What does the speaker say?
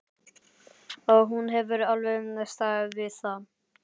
Og hún hefur alveg staðið við það.